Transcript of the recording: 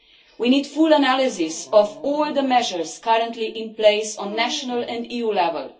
We need full analysis of all the measures currently in place at national and EU level.